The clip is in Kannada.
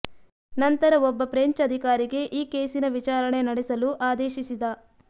ನಂತರ ಒಬ್ಬ ಫ್ರೆಂಚ್ ಅಧಿಕಾರಿಗೆ ಈ ಕೇಸಿನ ವಿಚಾರಣೆ ನಡೆಸಲು ಆದೇಶಿಸಿದ